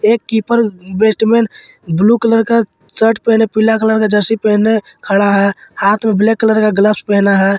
एक keeper batsman blue colour का shirt पहने पीला कलर का जर्सी पहने खड़ा है हाथ में ब्लैक कलर का ग्लब्स पहना है।